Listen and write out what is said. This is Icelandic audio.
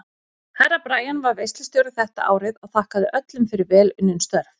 Herra Brian var veislustjóri þetta árið og þakkaði öllum fyrir vel unnin störf.